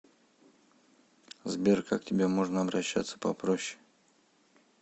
сбер как к тебе можно обращаться попроще